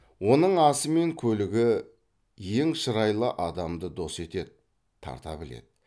оның асы мен көлігі ең шырайлы адамды дос етеді тарта біледі